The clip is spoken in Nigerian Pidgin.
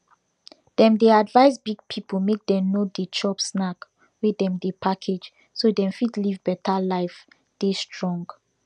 dem dey advise big pipu make dem no dey chop snack wey dem package so dem fit live better life dey strong